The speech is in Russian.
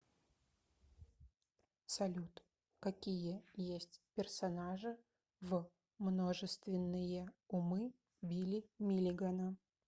салют какие есть персонажи в множественные умы билли миллигана